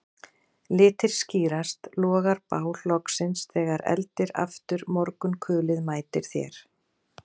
Litir skýrast, logar bál loksins þegar eldir aftur morgunkulið mætir þér